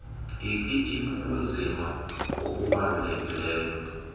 ik ibubunzima obubalulekileyo